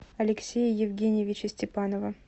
алексея евгеньевича степанова